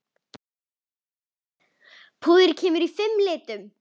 Púðrið kemur í fimm litum.